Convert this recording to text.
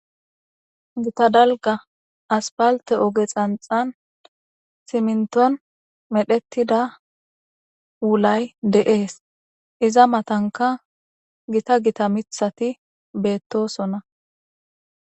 gitadalga aspalte oge xanxan siminton medhettida wulay de7ees iza matanka gita gita mithati beettosonna